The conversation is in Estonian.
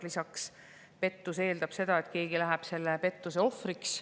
Lisaks, pettus eeldab, et keegi langeb selle ohvriks.